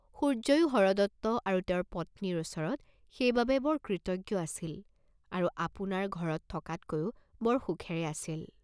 সূৰ্য্যয়ো হৰদত্ত আৰু তেওঁৰ পত্নীৰ ওচৰত সেই বাবে বৰ কৃতজ্ঞ আছিল আৰু আপোনাৰ ঘৰত থকাতকৈও বৰ সুখেৰে আছিল।